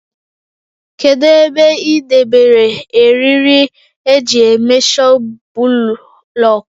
Kedụ ebe ị debere eriri eji éméshọ bụlọọkụ?